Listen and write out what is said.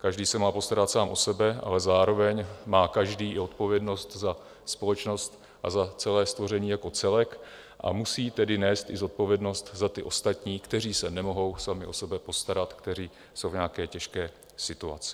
Každý se má postarat sám o sebe, ale zároveň má každý i odpovědnost za společnost a za celé stvoření jako celek, a musí tedy nést i zodpovědnost za ty ostatní, kteří se nemohou sami o sebe postarat, kteří jsou v nějaké těžké situaci.